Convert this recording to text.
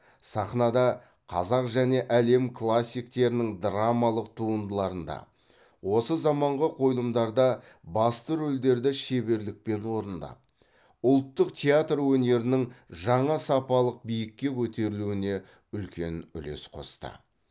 сахнада қазақ және әлем классиктерінің драмалық туындыларында осы заманғы қойылымдарда басты рөлдерді шеберлікпен орындап ұлттық театр өнерінің жаңа сапалық биікке көтерілуіне үлкен үлес қосты